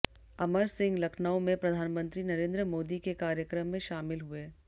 अमर सिंह लखनऊ में प्रधानमंत्री नरेंद्र मोदी के कार्यक्रम में शामिल हुए